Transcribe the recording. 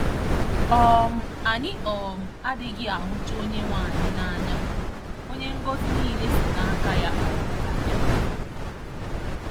um Anyị um adịghị ahụcha Onyenwe anyị n'anya, Onye ngọzi niile si n'aka ya um abịa